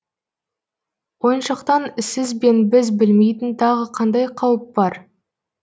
ойыншықтан сіз бен біз білмейтін тағы қандай қауіп бар